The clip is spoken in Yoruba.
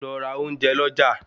Lọ ra ounjẹ lọ já